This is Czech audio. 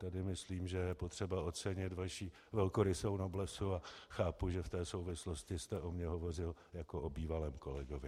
Tady myslím, že je potřeba ocenit vaši velkorysou noblesu, a chápu, že v té souvislosti jste o mně hovořil jako o bývalém kolegovi.